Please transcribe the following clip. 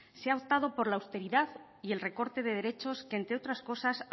se ha optado por la austeridad y el recorte de derechos que entre otras cosas